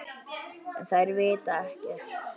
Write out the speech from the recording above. En þær vita ekkert.